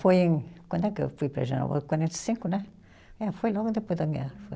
Foi em, quando é que quarenta e cinco, né? Foi logo depois da guerra, foi.